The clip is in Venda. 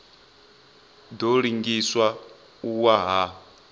ḓo ḽengisa u wa ha